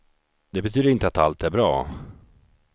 Det betyder inte att allt är bra.